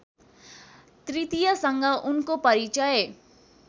तृतीयसँग उनको परिचय